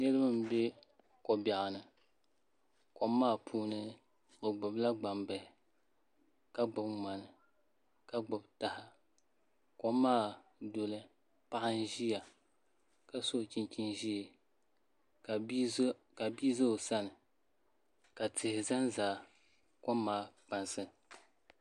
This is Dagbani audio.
Niraba n bɛ ko biɛɣu ni kom maa puuni bi gbubila gbambihi ka gbuni ŋmani ka gbubi taha kom maa domi paɣa n ʒiya ka so chinchin ʒiɛ ka bia ʒɛ o sani ka tihi ʒɛnʒɛ kom maa kpansi